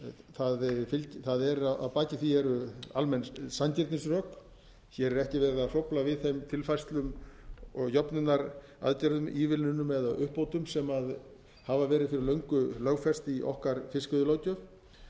það er að baki því eru almenn sanngirnisrök hér er ekki verið að hrófla við þeim tilfærslum og jöfnunaraðgerðum ívilnunum eða uppbótum sem hafa verið fyrir löngu lögfest í okkar fiskveiðilöggjöf